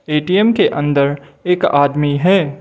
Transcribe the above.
ATM के अंदर एक आदमी है।